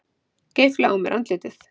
Geifla á mér andlitið.